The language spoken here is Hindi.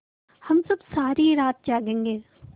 हम सब सारी रात जागेंगे